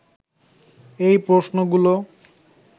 এই প্রশ্নগুলো